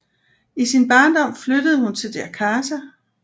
I sin barndom flyttede hun til Jakarta